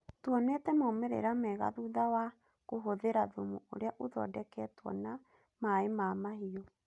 Tũonĩtĩ maũmĩrĩra mega thutha wa kũhũthira thumu ũrĩa ũthondekĩtũo na mai ma mahiũ.